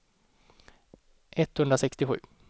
etthundrasextiosju